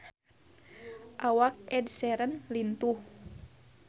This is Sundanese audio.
Awak Ed Sheeran lintuh